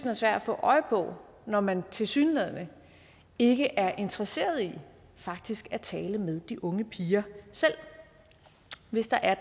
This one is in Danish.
er svær at få øje på når man tilsyneladende ikke er interesseret i faktisk at tale med de unge piger selv hvis der er